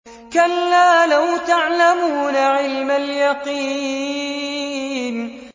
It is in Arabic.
كَلَّا لَوْ تَعْلَمُونَ عِلْمَ الْيَقِينِ